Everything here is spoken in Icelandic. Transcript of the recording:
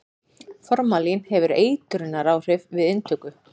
formalín hefur eitrunaráhrif við inntöku